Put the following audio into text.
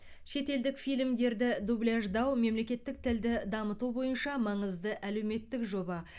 шетелдік фильмдерді дубляждау мемлекеттік тілді дамыту бойынша маңызды әлеуметтік жоба